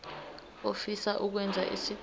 ofisa ukwenza isicelo